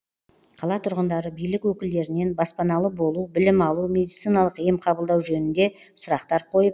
қала тұрғындары билік өкілдерінен баспаналы болу білім алу медициналық ем қабылдау жөнінде сұрақтар қойып